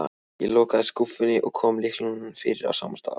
Ég lokaði skúffunni og kom lyklinum fyrir á sama stað.